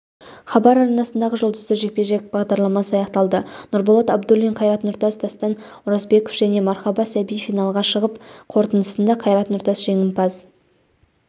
хабар арнасындағы жұлдызды жекпе-жек бағдарламасы аяқталды нұрболат абдуллин қайрат нұртас дастан оразбеков және мархаба сәби финалға шығып қорытындысында қайрат нұртас жеңімпаз